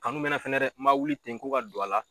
Kanu bɛna fɛnɛ dɛ n ma wuli ten ko ka don a la